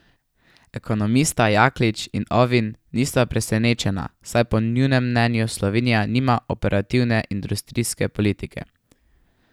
Ekonomista Jaklič in Ovin nista presenečena, saj po njunem mnenju Slovenija nima operativne industrijske politike.